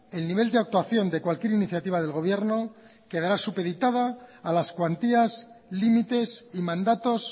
el nivel de actuación de cualquier iniciativa del gobierno quedará supeditado a las cuantías límites y mandatos